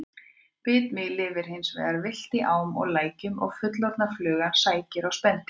Bitmý lifir hins vegar villt í ám og lækjum og fullorðna flugan sækir á spendýr.